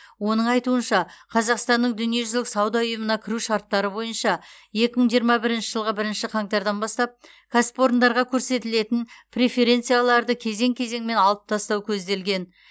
оның айтуынша қазақстанның дүниежүзілік сауда ұйымына кіру шарттары бойынша екі мың жиырма бірінші жылғы бірінші қаңтардан бастап кәсіпорындарға көрсетілетін преференцияларды кезең кезеңмен алып тастау көзделген